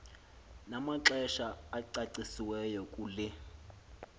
namaxesha acacisiweyo kule